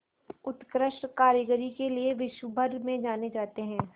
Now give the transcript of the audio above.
उत्कृष्ट कारीगरी के लिये विश्वभर में जाने जाते हैं